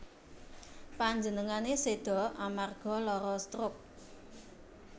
Panjenengane seda amarga lara stroke